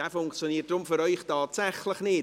Dieser funktioniert für Sie tatsächlich nicht.